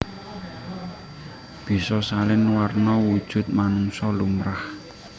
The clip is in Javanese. Bisa salin warna wujud manungsa lumrah